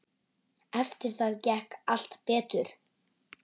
Eftir það gekk allt betur.